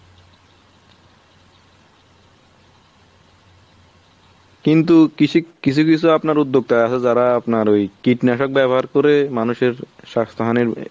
কিন্তু কৃষি কিছু কিছু আপনার উদ্যোক্তা আছে যারা আপনার ওই কীটনাশক ব্যাবহার করে মানুষের স্বাস্থ্যহানির